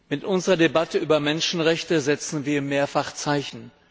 Mit unserer Debatte über Menschenrechte setzen wir mehrfach Zeichen.